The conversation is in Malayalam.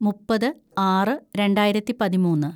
മുപ്പത് ആറ് രണ്ടായിരത്തി പതിമൂന്ന്‌